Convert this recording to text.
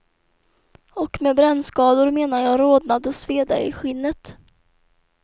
Och med brännskador menar jag rodnad och sveda i skinnet.